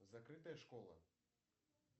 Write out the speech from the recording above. закрытая школа